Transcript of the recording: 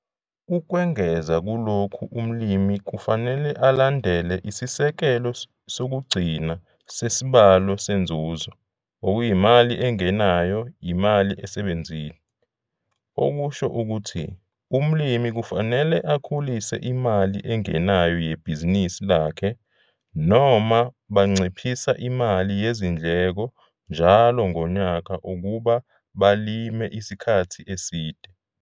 Ukwengeza kulokhu umlimi kufanele alandlele isisekelo sokugcina sesibalo seNzuzo okuyimali engenayo, imali esebenzile. Okusho ukuthi, umlimi kufanele akhulise imali engenayo yebhizinisi lakhe noma banciphisa imali yezindleka njalo ngonyaka ukuba balime isikhathi eside.